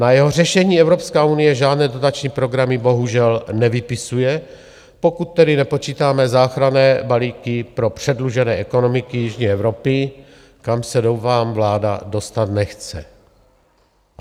Na jeho řešení Evropská unie žádné dotační programy bohužel nevypisuje, pokud tedy nepočítáme záchranné balíky pro předlužené ekonomiky jižní Evropy, kam se, doufám, vláda dostat nechce.